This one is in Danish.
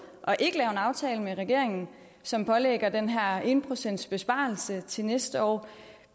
og ikke lave en aftale med regeringen som pålægger dem den her en pcts besparelse til næste år